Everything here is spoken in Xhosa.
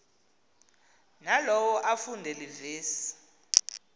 nalowo afunde iivesi